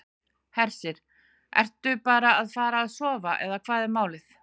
Hersir: Ertu bara að fara að sofa eða hvað er málið?